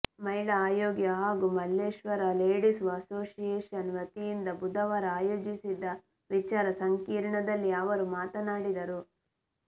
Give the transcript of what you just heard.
ಮಹಿಳಾ ಆಯೋಗ ಹಾಗೂ ಮಲ್ಲೇಶ್ವರ ಲೇಡೀಸ್ ಅಸೋಸಿಯೇಷನ್ ವತಿಯಿಂದ ಬುಧವಾರ ಆಯೋಜಿಸಿದ್ದ ವಿಚಾರಸಂಕಿರಣದಲ್ಲಿ ಅವರು ಮಾತನಾಡಿದರು